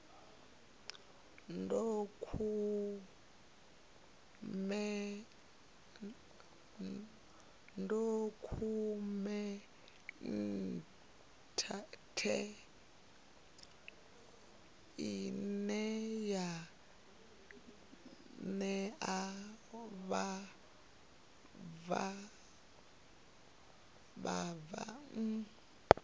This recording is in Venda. dokhumenthe ine ya ṋea vhabvann